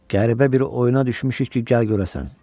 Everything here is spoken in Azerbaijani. Qəribə bir oyuna düşmüşük ki, gəl görərsən.